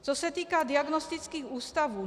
Co se týká diagnostických ústavů.